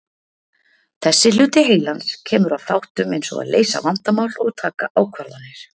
Þessi hluti heilans kemur að þáttum eins og að leysa vandamál og taka ákvarðanir.